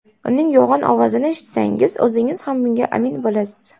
Uning yo‘g‘on ovozini eshitsangiz, o‘zingiz ham bunga amin bo‘lasiz.